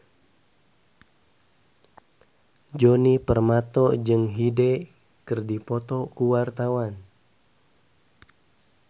Djoni Permato jeung Hyde keur dipoto ku wartawan